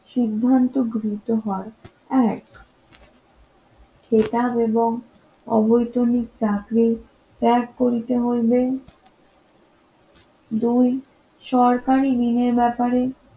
সিদ্ধান্ত গৃহীত হয় এক ক্রেতা এবং অবৈতনিক চাকরি ত্যাগ করিতে হইবে দুই সরকারি ঋণের ব্যাপারে